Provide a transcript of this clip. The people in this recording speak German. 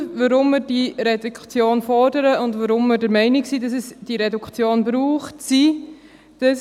Die Gründe, weshalb wir diese Reduktion fordern und der Meinung sind, es brauche diese Reduktion, sind: